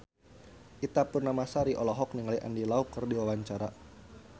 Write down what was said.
Ita Purnamasari olohok ningali Andy Lau keur diwawancara